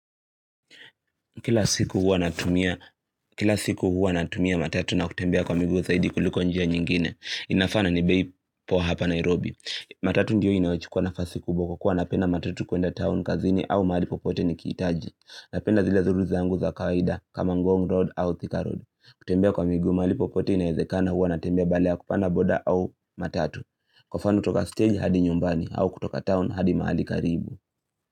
Kila siku huwa natumia matatu na kutembea kwa miguu zaidi kuliko njia nyingine, inafaa na ni bei poa hapa Nairobi. Matatu ndiyo inayochukuwa nafasi kubwa kwa kuwa napenda matatu kuenda town kazini au mahali popote nikihitaji. Napenda zile zuru zaangu za kawaida kama Ngong Road au Thika Road. Kutembea kwa miguu, mahali popote inawezekana huwa natembea badala ya kupanda boda au matatu. Kwa mfano kutoka stage hadi nyumbani, au kutoka town hadi mahali karibu.